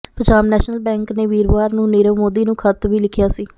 Punjab National Bank ਨੇ ਵੀਰਵਾਰ ਨੂੰ ਨੀਰਵ ਮੋਦੀ ਨੂੰ ਖਤ ਵੀ ਲਿਖਿਆ ਸੀ